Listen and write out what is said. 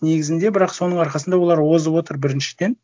негізінде бірақ соның арқасында олар озып отыр біріншіден